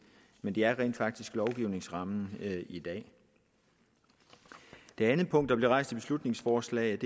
men det er rent faktisk lovgivningsrammen i dag det andet punkt der bliver rejst i beslutningsforslaget